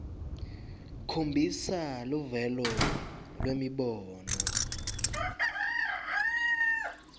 khombisa luvelo lwemibono